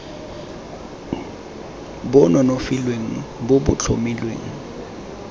bo nonofileng bo bo tlhomilweng